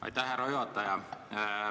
Aitäh, härra juhataja!